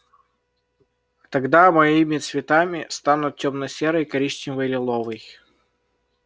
тогда моими цветами станут тёмно-серый коричневый и лиловый